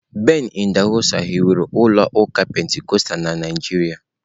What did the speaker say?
Ben idahosa hiwere ụlọ ụka Pentikọstal na Naịjirịa.